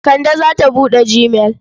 Kande za ta buɗe gmail.